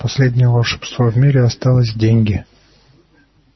последнее волшебство в мире осталось деньги